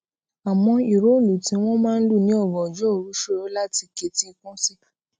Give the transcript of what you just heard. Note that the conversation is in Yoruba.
àmó ìró ìlù tí wón máa ń lù ní ògànjó òru ṣoro lati keti ikun si